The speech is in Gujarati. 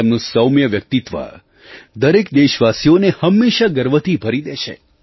તેમનું સૌમ્ય વ્યક્તિત્વ દરેક દેશવાસીઓને હંમેશાં ગર્વથી ભરી દે છે